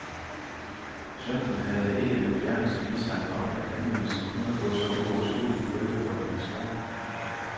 Sønnen havde ikke den fjerneste mistanke om, at henvendelsen kunne få så uoverskuelige følger for hans mor.